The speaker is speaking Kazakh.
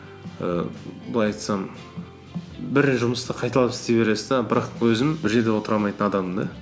ііі былай айтсам бір жұмысты қайталап істей бересіз де бірақ өзім бір жерде отыра алмайтын адаммын да